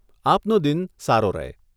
આપનો દિન સારો રહે.